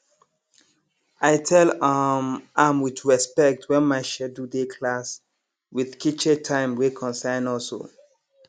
i tell um am with respect when my schedule dey class with kitche time wey concern us um